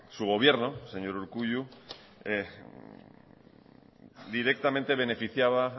su gobierno señor urkullu directamente beneficiaba